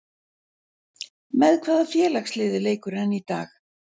Með hvaða félagsliði leikur hann í dag?